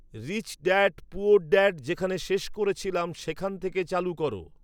rich dad poor dad যেখানে শেষ করেছিলাম সেখান থেকে চালু করো